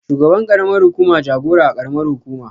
Shugaban ƙaramar hukuma jagora a ƙaramar hukuma